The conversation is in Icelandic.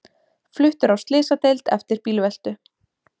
Fluttur á slysadeild eftir bílveltu